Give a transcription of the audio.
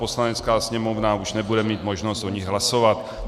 Poslanecká sněmovna už nebude mít možnost o nich hlasovat.